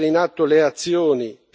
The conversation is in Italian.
Il Congo ha bisogno di questo.